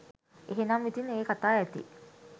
එහෙනම් ඉතින් ඒ කතා ඇති